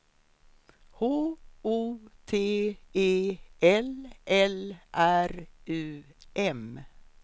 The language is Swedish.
H O T E L L R U M